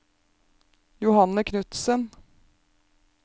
Johanne Knudsen